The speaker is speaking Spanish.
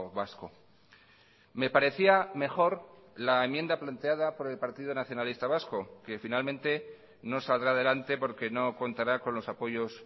vasco me parecía mejor la enmienda planteada por el partido nacionalista vasco que finalmente no saldrá adelante porque no contará con los apoyos